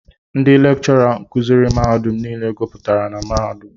Ndị lekchọra kuziiri mmadụ nile guputara na mahadum.